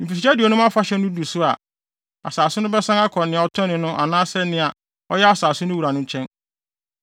Mfirihyia Aduonum Afahyɛ no du so a, asase no bɛsan akɔ nea ɔtɔnee no anaasɛ nea na ɔyɛ asase no wura no nkyɛn.